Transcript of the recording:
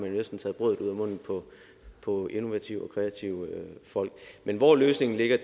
jo næsten taget brødet ud af munden på innovative og kreative folk men hvor løsningen ligger